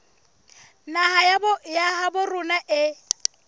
naha ya habo rona e